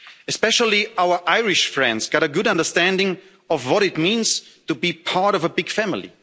Especially our Irish friends got a good understanding of what it means to be part of a big family.